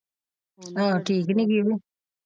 ਹਾਂ ਠੀਕ ਨਹੀਂ ਤੋਂ?